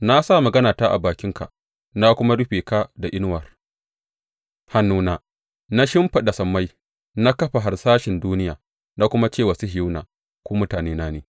Na sa maganata a bakinka na kuma rufe ka da inuwar hannuna, Na shimfiɗa sammai, na kafa harsashen duniya, na kuma ce wa Sihiyona, Ku mutanena ne.’